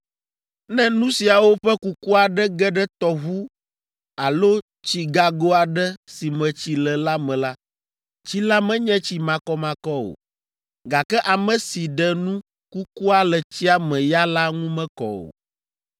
Ne nu siawo ƒe kuku aɖe ge ɖe tɔʋu alo tsigago aɖe si me tsi le la me la, tsi la menye tsi makɔmakɔ o, gake ame si ɖe nu kukua le tsia me ya la ŋu mekɔ o.